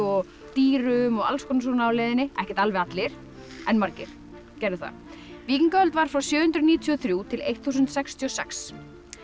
dýrum og alls konar svona á leiðinni ekkert alveg allir en margir gerðu það víkingaöld var frá sjö hundruð níutíu og þrjú til þúsund sextíu og sex